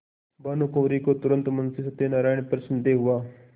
भानुकुँवरि को तुरन्त मुंशी सत्यनारायण पर संदेह हुआ